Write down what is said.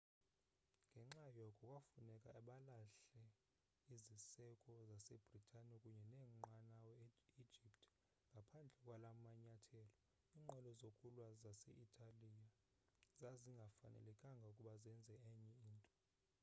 ngenxa yoko kwafuneka balahle iziseko zase-bhritane kunye neenqanawa e-egypt ngaphandle kwala manyathelo iinqwelo zokulwa zase-italiya zazingafanelekanga ukuba zenze enye into